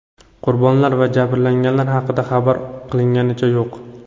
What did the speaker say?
Qurbonlar va jabrlanganlar haqida xabar qilinganicha yo‘q.